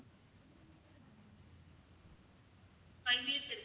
five years இருக்கு